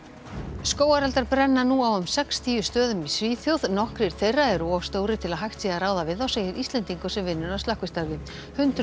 skógareldar brenna nú á um sextíu stöðum í Svíþjóð nokkrir þeirra eru of stórir til að hægt sé að ráða við þá segir Íslendingur sem vinnur að slökkvistarfi hundruð